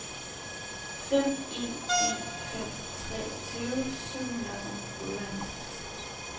fem en en fem treogtyve syv hundrede og otteoghalvtreds